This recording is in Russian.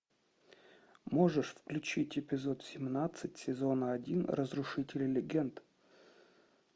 можешь включить эпизод семнадцать сезона один разрушители легенд